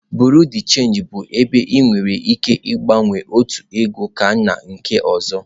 Bureau de change bụ ebe ị nwere ike ịgbanwe otu ego gaa na nke ọzọ.